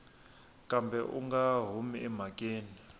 kambe u nga humi emhakeni